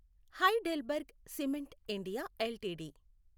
high డెల్బర్గ్ cement India LTD